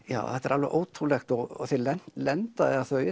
já þetta er alveg ótrúlegt og þeir lenda lenda eða þau